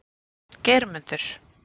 Geirmundur